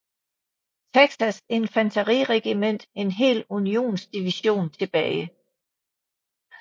Texas infanteriregiment en hel unionsdivision tilbage